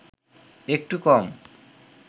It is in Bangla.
একটু কম